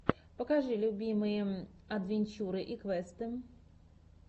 покажи любимые адвенчуры и квесты